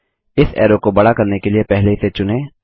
इस एरो को बड़ा करने के लिए पहले इसे चुनें